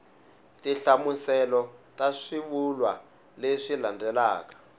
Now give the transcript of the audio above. tinhlamuselo ta swivulwa leswi landzelaka